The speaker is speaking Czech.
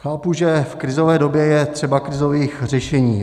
Chápu, že v krizové době je třeba krizových řešení.